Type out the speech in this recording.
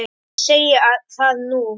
Ég segi það nú!